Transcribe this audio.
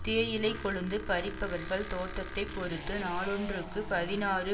தேயிலை கொழுந்து பறிப்பவர்கள் தோட்டத்தைப் பொறுத்து நாளொன்றுக்கு பதினாறு